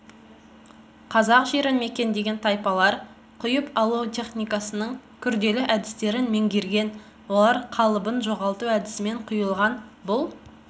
қазақ жерін мекендеген тайпалар құйып алу техникасының күрделі әдістерін меңгерген олар қалыбын жоғалту әдісімен құйылған бұл